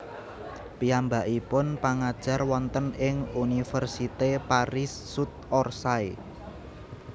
Piyambakipun pangajar wonten ing Université Paris Sud Orsay